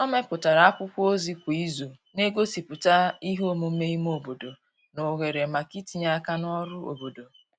o meputara akwụkwo ozi kwa izu n'egosiputa ihe omume ime obodo na ohere maka itinye aka n'ọrụ obodo